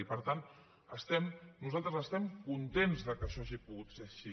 i per tant nosaltres estem contents que això hagi pogut ser així